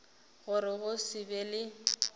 gore go se be le